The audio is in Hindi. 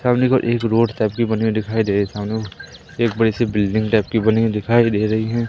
सामने को एक रोड टाइप बनी हुई दिखाई दे सामने एक बड़ी सी बिल्डिंग टाइप की बनी हुई दिखाई दे रही हैं।